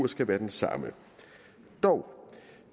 skal være den samme